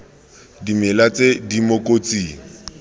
dimela tse di mo kotsing